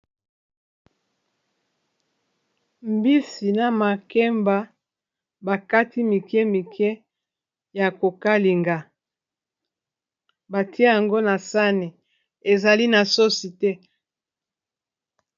mbisi na makemba bakati mike mike ya kokalinga batia yango na sane ezali na sosi te